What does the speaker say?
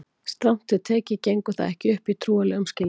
strangt til tekið gengur það ekki upp í trúarlegum skilningi